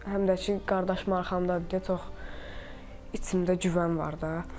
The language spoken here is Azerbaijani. Həm də ki, qardaşım arxamdadır deyə çox içimdə güvən var da.